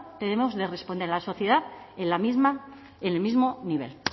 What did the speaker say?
debemos de responder a la sociedad en el mismo nivel